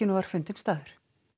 var fundinn staður